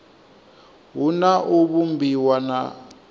hu na u vhumbiwa ha